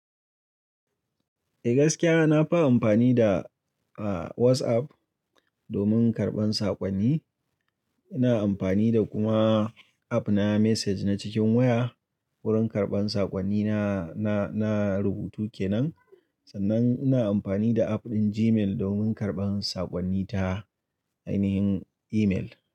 Eh gaskiya, na fi amfani da, ah, WhatsApp domin karɓan saƙonni. Ina amfani da kuma app na message na cikin waya. Wurin karɓan saƙonni na, na, na rubutu kenan. Sannan ina amfani da app ɗin Gmail domin karɓan saƙonni ta ainihin email.